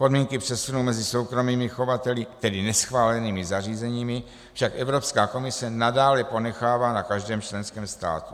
Podmínky přesunu mezi soukromými chovateli, tedy neschválenými zařízeními, však Evropská komise nadále ponechává na každém členském státu.